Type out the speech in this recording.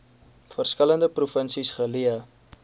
verskillende provinsies geleë